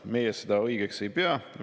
Meie seda õigeks ei pea.